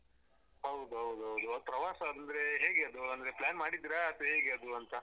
ಹೌದೌದು ಹೌದು ಪ್ರವಾಸ ಅಂದ್ರೆ ಹೇಗೆ ಅಂದ್ರೆ ಅದು plan ಮಾಡಿದ್ರಾ ಅಥ್ವಾ ಹೇಗೆ ಅದು ಅಂತ.